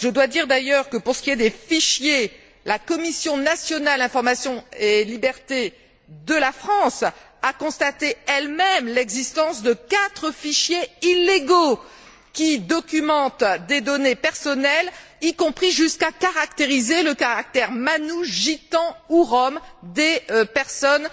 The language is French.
Je dois dire, d'ailleurs, que pour ce qui est des fichiers, la Commission nationale de l'informatique et des libertés de la France a constaté elle même l'existence de quatre fichiers illégaux qui documentent des données personnelles, y compris jusqu'à caractériser le caractère manouche, gitan ou rom des personnes